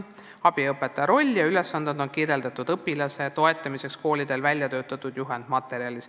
" Abiõpetaja roll ja ülesanded õpilase toetamisel on koolide väljatöötatud juhendmaterjalides.